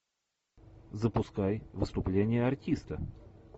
запускай выступление артиста